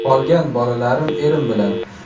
Qolgan bolalarim erim bilan.